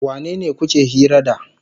Wanene kuke hira da?